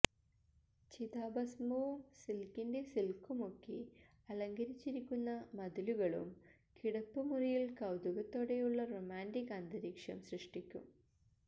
ചിതാഭസ്നവും സിൽക്കിന്റെ സിൽക്കുമൊക്കെ അലങ്കരിച്ചിരിക്കുന്ന മതിലുകളും കിടപ്പുമുറിയിൽ കൌതുകത്തോടെയുള്ള റൊമാന്റിക് അന്തരീക്ഷം സൃഷ്ടിക്കും